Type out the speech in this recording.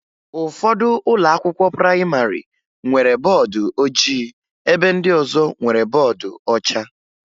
Ụfọdụ ụlọakwụkwọ prayịmarị nwere bọọdụ ojii ebe ndị ọzọ nwere bọọdụ ọcha